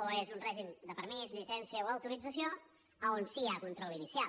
o és un règim de permís llicència o autorització on sí hi ha control inicial